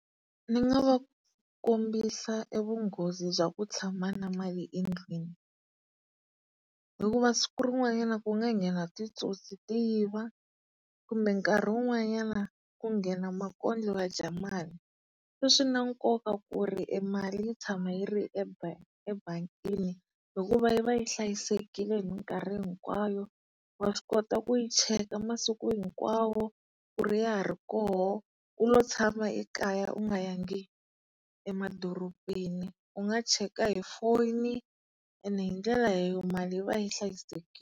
Ni nga va kombisa e vunghozi bya ku tshama na mali endlwini hikuva siku rin'wannyana ku nga nghena titsotsi ti yiva kumbe nkarhi wun'wanyana ku nghena makondlo ya dya mali. Swi na nkoka ku ri e mali yi tshama yi ri e ebangini hikuva yi va yi hlayisekile hi mikarhi hinkwayo, wa swi kota ku yi cheka masiku hinkwawo ku ri ya ha ri koho u lo tshama ekaya u nga yangi emadorobeni. U nga cheka hi foyini, ene hi ndlela mali yi va yi hlayisekile.